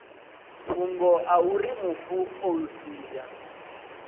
fhungo auri mufu o sia